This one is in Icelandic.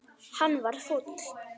Hann varð fúll.